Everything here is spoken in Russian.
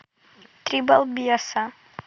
три балбеса